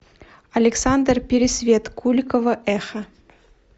александр пересвет куликово эхо